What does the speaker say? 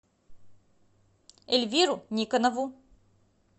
эльвиру никонову